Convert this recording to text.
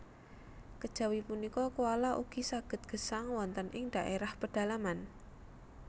Kejawi punika koala ugi saged gesang wonten ing dhaérah pedalaman